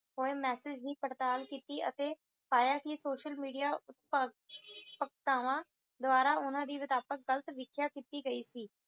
ਹੋਏ message ਦੀ ਪੜਤਾਲ ਕਿੱਤੀ ਅਤੇ ਆਇਆ ਕੀ social media ਉਪਭ ਪਗਤਾਵਾਂ ਦੁਆਰਾ ਉਹਨਾਂ ਦੀ ਵਿਦਾਪਕ ਗਲਤ ਵਿਖਿਆ ਕਿੱਤੀ ਗਈ ਸੀ